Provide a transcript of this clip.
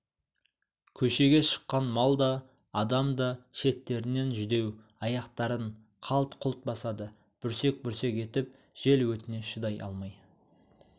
көшеге шыққан мал да адам да шеттерінен жүдеу аяқтарын қалт-құлт басады бүрсек-бүрсек етіп жел өтіне шыдай алмай